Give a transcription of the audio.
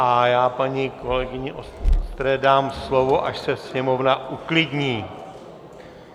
A já paní kolegyni Vostré dám slovo, až se sněmovna uklidní.